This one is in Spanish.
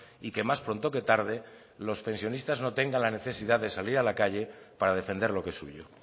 y que más pronto que tarde los pensionistas no tengan la necesidad de salir a la calle para defender lo que es suyo